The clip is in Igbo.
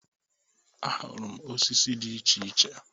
Ahụrụ m osisi di iche iche.